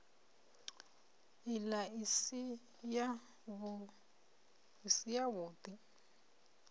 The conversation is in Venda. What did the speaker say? ila i si yavhud i